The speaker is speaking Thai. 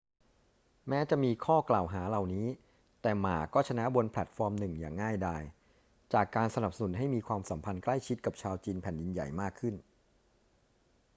แม้จะมีข้อกล่าวหาเหล่านี้ แต่หม่าก็ชนะบนแพลตฟอร์มหนึ่งอย่างง่ายดาย จากการสนับสนุนให้มีความสัมพันธ์ใกล้ชิดกับชาวจีนแผ่นดินใหญ่มากขึ้น